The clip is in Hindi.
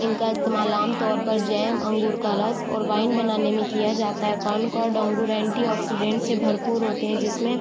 इनका इस्तेमाल आम तौर पर जैम अंगूर का रस और वाइन बनाने में किया जाता है कोन्कोर्ड अंगूर एंटी-ऑक्सीडेंट से भरपूर होते है जिसमे --